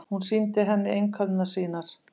Hún sýndi henni einkunnirnar sínar.